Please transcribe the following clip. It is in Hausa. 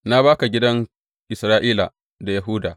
Na ba ka gidan Isra’ila da Yahuda.